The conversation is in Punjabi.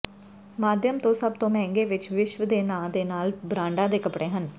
ਮਾਧਿਅਮ ਤੋਂ ਸਭ ਤੋਂ ਮਹਿੰਗੇ ਵਿਚ ਵਿਸ਼ਵ ਦੇ ਨਾਂ ਦੇ ਨਾਲ ਬ੍ਰਾਂਡਾਂ ਦੇ ਕੱਪੜੇ ਹਨ